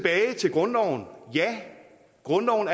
grundloven grundloven